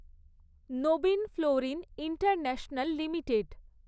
Nabin Fluorine International limited